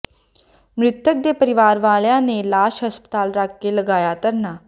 ਮਿ੍ਤਕ ਦੇ ਪਰਿਵਾਰ ਵਾਲਿਆਂ ਨੇ ਲਾਸ਼ ਹਸਪਤਾਲ ਰੱਖਕੇ ਲਗਾਇਆ ਧਰਨਾ